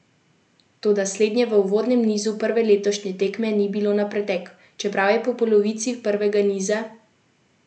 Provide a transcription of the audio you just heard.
Toda slednje v uvodnem nizu prve letošnje tekme ni bilo na pretek, čeprav je po polovici prvega niza kazalo na uspeh Gorenjk.